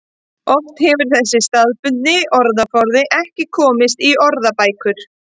Oft hefur þessi staðbundni orðaforði ekki komist í orðabækur.